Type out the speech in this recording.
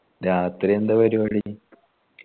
രാത്രി എന്താ പരുവാടി